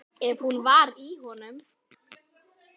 Ef hún var í honum.